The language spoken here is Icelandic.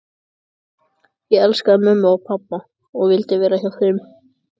Ég elskaði mömmu og pabba og vildi vera hjá þeim.